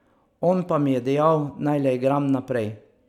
On pa mi je dejal, naj le igram naprej.